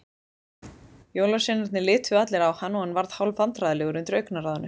Jólasveinarnir litu allir á hann og hann varð hálfvandræðalegur undir augnaráðinu.